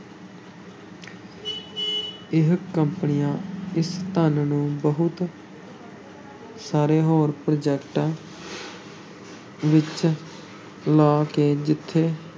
ਇਹ ਕੰਪਨੀਆਂ ਇਸ ਧਨ ਨੂੰ ਬਹੁਤ ਸਾਰੇ ਹੋਰ ਪ੍ਰਾਜੈਕਟਾਂ ਵਿੱਚ ਲਾ ਕੇ ਜਿੱਥੇ